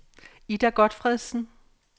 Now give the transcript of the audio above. Ida Gotfredsen